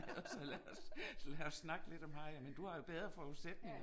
Så lad os så lad os snakke lidt om hajer, men du har jo bedre forudsætninger